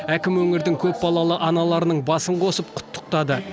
әкім өңірдің көпбалалы аналарының басын қосып құттықтады